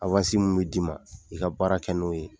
mun bi d'i ma i ka baara kɛ n'o ye.